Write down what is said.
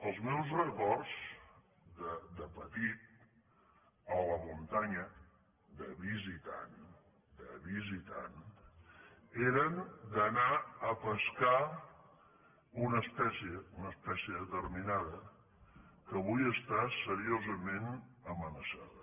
els meus records de petit a la muntanya de visitant de visitant eren d’anar a pescar una espècie una espècie determinada que avui està seriosament amenaçada